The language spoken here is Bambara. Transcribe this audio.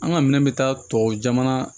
An ka minɛn bɛ taa tuwawu jamana